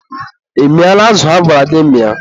ị mịala azụ agwara gị mịa?